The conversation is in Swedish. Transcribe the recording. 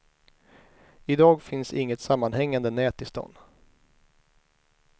I dag finns inget sammanhängande nät i stan.